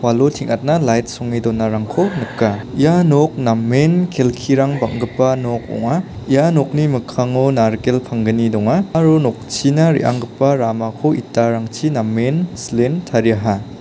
lo teng·atna lait songe donarangko nika ia nok namen kelkirang bang·gipa nok ong·a ia nokni mikkango narikel panggni donga aro nokchina re·anggipa ramako itarangchi namen silen tariaha.